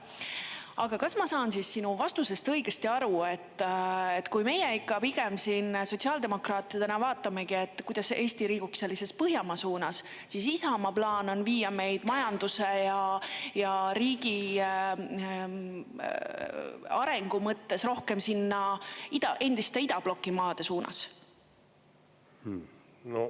Aga kas ma saan sinu vastusest õigesti aru, et kui meie ikka pigem siin sotsiaaldemokraatidena vaatamegi, kuidas Eesti liiguks Põhjamaa suunas, siis Isamaa plaan on viia meid majanduse ja riigi arengu mõttes rohkem sinna endiste idabloki maade suunas?